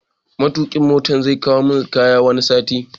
Matokin Motan zai kawo min kayana wani sati